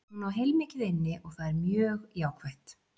Hún á heilmikið inni og það er mjög jákvætt.